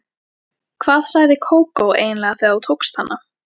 Hvað sagði Kókó eiginlega þegar þú tókst hana?